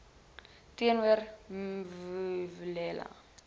teenoor me vuyelwa